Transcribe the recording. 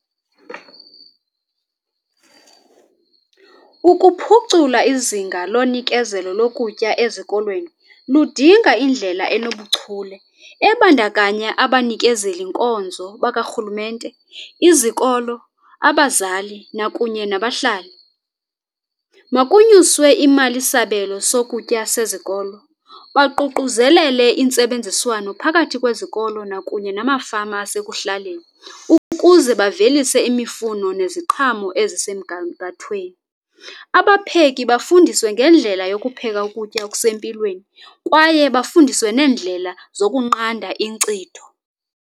Ukuphucula izinga lonikezelo lokutya ezikolweni ludinga indlela enobuchule ebandakanya abanikezeli nkonzo bakarhulumente, izikolo, abazali nakunye nabahlali. Makunyuswe imalisabelo sokutya sezikolo. Baququzelele intsebenziswano phakathi kwezikolo nakunye namafama asekuhlaleni ukuze bavelise imifuno neziqhamo ezisemgangathweni. Abapheki bafundiswe ngendlela yokupheka ukutya okusempilweni kwaye bafundiswe neendlela zokunqanda inkcitho.